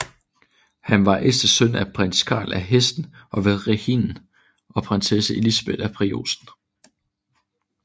Han var ældste søn af prins Karl af Hessen og ved Rhinen og prinsesse Elisabeth af Preussen